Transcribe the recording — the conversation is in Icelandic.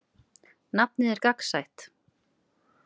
Nafnið er gagnsætt.